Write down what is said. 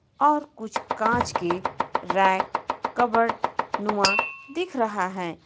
और कुछ कांच की रैक कपबर्ड नुमा दिख रहा है.